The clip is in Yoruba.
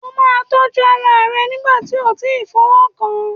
O máa tọ́jú ara rẹ nígbà tí o ti fọwọ́ kàn an.